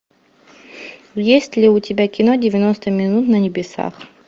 есть ли у тебя кино девяносто минут на небесах